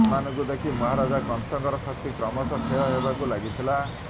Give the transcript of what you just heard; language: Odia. ସେମାନଙ୍କୁ ଦେଖି ମହାରାଜ କଂସଙ୍କର ଶକ୍ତି କ୍ରମଶଃ କ୍ଷୟ ହେବାକୁ ଲାଗିଥିଲା